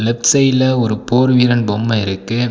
Left சைடுல ஒரு போர்வீரன் பொம்ம இருக்கு.